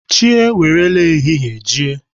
Chi ewere ehihie jie.